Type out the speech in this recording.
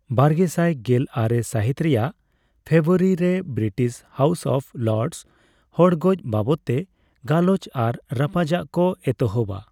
ᱵᱟᱨᱜᱮᱥᱟᱭ ᱜᱮᱞ ᱟᱨᱮ ᱥᱟᱹᱦᱤᱛ ᱨᱮᱭᱟᱜ ᱯᱷᱮᱵᱨᱩᱣᱟᱨᱤ ᱨᱮ ᱵᱨᱤᱴᱤᱥ ᱦᱟᱣᱩᱥ ᱚᱯᱷ ᱞᱚᱨᱰᱥ ᱦᱚᱲᱜᱚᱡ ᱵᱟᱵᱚᱛᱼᱛᱮ ᱜᱟᱞᱚᱪ ᱟᱨ ᱨᱟᱯᱟᱡᱟᱜ ᱠᱚ ᱮᱛᱚᱦᱚᱵᱟ ᱾